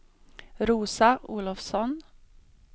Rosa Olofsson